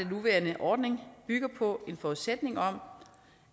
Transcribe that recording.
nuværende ordning bygger på en forudsætning om